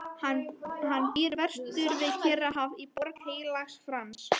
Hann býr vestur við Kyrrahaf í Borg Heilags Frans.